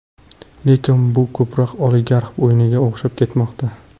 Lekin bu ko‘proq oligarxlar o‘yiniga o‘xshab ketmoqda.